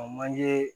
manje